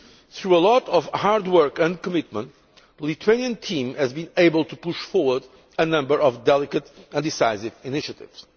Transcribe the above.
Through a lot of hard work and commitment, the Lithuanian team has been able to push forward a number of delicate and decisive initiatives.